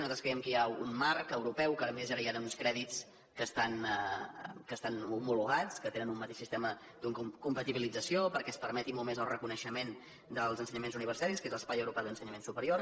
nosaltres creiem que hi ha un marc europeu que ara a més hi han uns crèdits que estan homologats que te·nen un mateix sistema de compatibilització perquè es permeti molt més el reconeixement dels ensenyaments universitaris que és l’espai europeu d’ensenyament su·perior